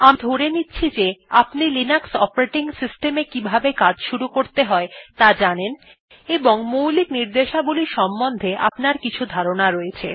আমি ধরে নিচ্ছি যে আপনি লিনাক্স অপারেটিং সিস্টেম এ কিভাবে কাজ শুরু করতে হয় ত়া জানেন এবং মৌলিক র্নিদেশাবলী সম্বন্ধে আপনার কিছু ধারনার রয়েছে